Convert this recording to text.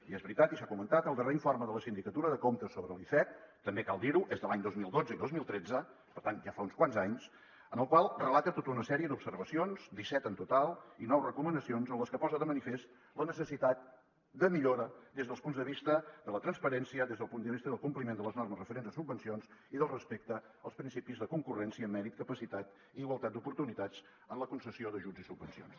i és veritat i s’ha comentat el darrer informe de la sindicatura de comptes sobre l’icec també cal dir ho és de l’any dos mil dotze i dos mil tretze per tant ja fa uns quants anys en el qual relata tota una sèrie d’observacions disset en total i nou recomanacions en les que posa de manifest la necessitat de millora des dels punts de vista de la transparència des del punt de vista del compliment de les normes referents a subvencions i del respecte als principis de concurrència mèrit capacitat i igualtat d’oportunitats en la concessió d’ajuts i subvencions